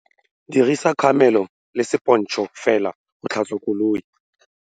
Dirisa kgamelo le sepontšhe fela go tlhatswa koloi.